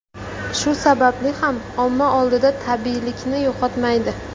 Shu sababli ham omma oldida tabiiylikni yo‘qotmaydi.